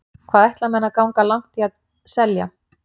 Hvað ætla menn að ganga langt í að selja.